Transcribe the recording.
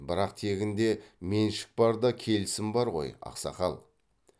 бірақ тегінде меншік бар да келісім бар ғой ақсақал